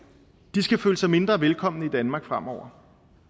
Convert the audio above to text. de skal føle sig mindre velkommen i danmark fremover